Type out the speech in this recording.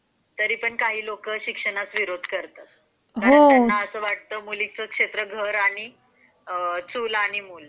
तरी पण काही लोक शिक्षण विरोधी त्यांना असं वाटतं मुलीचे क्षेत्र घर आणि चूल आणि मूल.